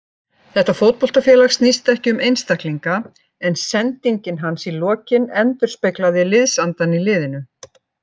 Þetta fótboltafélag snýst ekki um einstaklinga, en sendingin hans í lokin endurspeglaði liðsandann í liðinu.